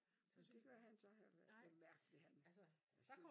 Nej det gør han så heller ikke. Det er mærkelig han synes